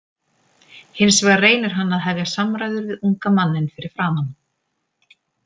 Hins vegar reynir hann að hefja samræður við unga manninn fyrir framan.